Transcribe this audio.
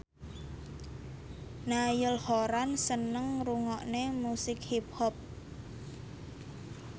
Niall Horran seneng ngrungokne musik hip hop